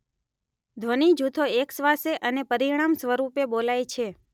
ધ્વનિ જૂથો અેકશ્વાસે અને પરિણામસ્વરૂપે બોલાય છે.